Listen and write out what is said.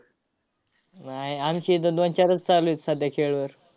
नाय, आमची इथं दोन-चारच चालू आहेत सध्या खेळवर.